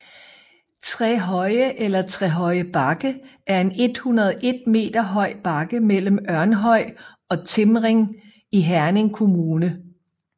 Trehøje eller Trehøje Bakke er en 101 m høj bakke mellem Ørnhøj og Timring i Herning Kommune